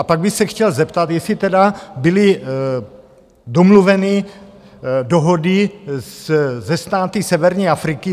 A pak bych se chtěl zeptat, jestli tedy byly domluveny dohody se státy severní Afriky.